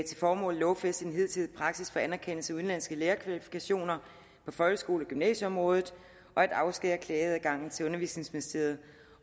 lovfæste den hidtidige praksis for anerkendelse af udenlandske lærerkvalifikationer på folkeskole og gymnasieområdet og at afskære klageadgangen til undervisningsministeriet